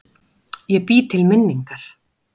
Ég bý til minningar.